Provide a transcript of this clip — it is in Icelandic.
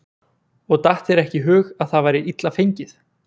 Og datt þér ekki í hug að það væri illa fengið?